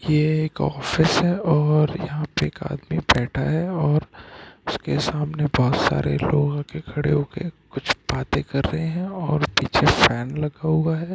ये एक ऑफिस है और यहाँ पे एक आदमी बैठा है और उसके सामने बोहोत सारे लोग आ के खड़े होके कुछ बाते कर रहे है और पीछे फैन लगा हुआ है।